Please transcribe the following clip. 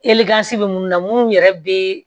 bɛ minnu na munnu yɛrɛ bɛ